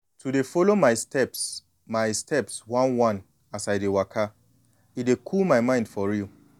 to dey follow my steps my steps one-one as i dey waka e dey cool my mind for real.